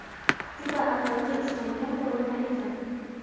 Juda aqlli ishlangan qurilma ekan!.